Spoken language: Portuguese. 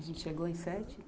A gente chegou em sete?